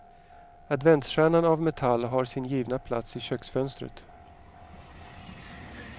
Adventsstjärnan av metall har sin givna plats i köksfönstret.